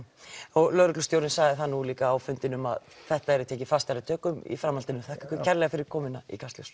og lögreglustjórinn sagði það líka á fundinum að þetta yrði tekið fastari tökum í framhaldinu þakka ykkur kærlega fyrir komuna í Kastljós